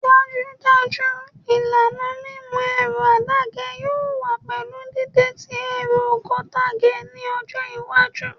Dajudaju ilana mimu ẹru adaṣe yoo wa pẹlu dide ti ẹru geotagged ni ọjọ iwaju